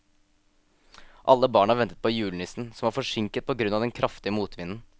Alle barna ventet på julenissen, som var forsinket på grunn av den kraftige motvinden.